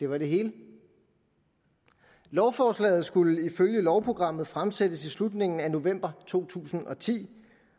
var det hele lovforslaget skulle ifølge lovprogrammet fremsættes i slutningen af november to tusind og ti